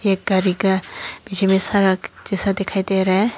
एक गारी का पीछे में सरक जैसा दिखाई दे रहा है।